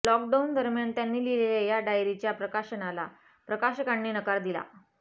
lockdown दरम्यान त्यांनी लिहिलेल्या या डायरीच्या प्रकाशनाला प्रकाशकांनी नकार दिला